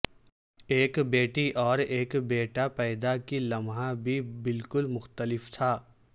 ایک بیٹی اور ایک بیٹا پیدا کی لمحہ بھی بالکل مختلف تھا